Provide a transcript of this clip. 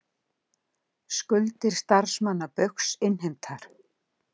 Skuldir starfsmanna Baugs innheimtar